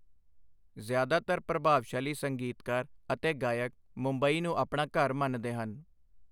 ਜ਼ਿਆਦਾਤਰ ਪ੍ਰਭਾਵਸ਼ਾਲੀ ਸੰਗੀਤਕਾਰ ਅਤੇ ਗਾਇਕ ਮੁੰਬਈ ਨੂੰ ਆਪਣਾ ਘਰ ਮੰਨਦੇ ਹਨ।